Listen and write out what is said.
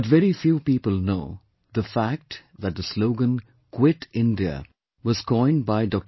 But very few people know the fact that the slogan, 'Quit India' was coined by Dr